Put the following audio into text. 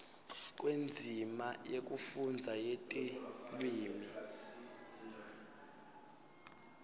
kwendzima yekufundza yetilwimi